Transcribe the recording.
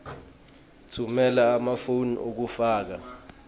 tfumela emafomu ekufaka